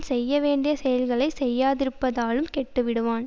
செய்ய வேண்டிய செயல்களை செய்யாதிருப்பதாலும் கெட்டுவிடுவான்